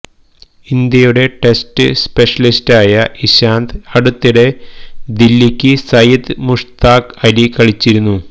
ഇന്ത്യയുടെ ടെസ്റ്റ് സ്പെഷ്യലിസ്റ്റായ ഇശാന്ത് അടുത്തിടെ ദില്ലിക്ക് സയിദ് മുഷ്താഖ് അലി കളിച്ചിരുന്നു